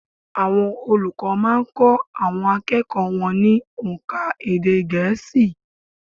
Àwọn olùkọ́ má a n kó àwọn akẹ́kọ̀ọ́ wọn ní ónká èdè gẹ̀ẹ́sì